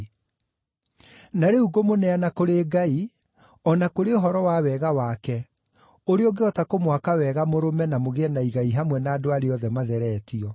“Na rĩu ngũmũneana kũrĩ Ngai o na kũrĩ ũhoro wa wega wake, ũrĩa ũngĩhota kũmwaka wega mũrũme na mũgĩe na igai hamwe na andũ arĩa othe matheretio.